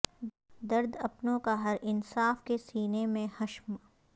درد اپنوں کا ہر انصاف کے سینے میں حشم